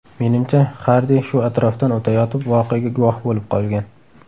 Menimcha, Xardi shu atrofdan o‘tayotib voqeaga guvoh bo‘lib qolgan.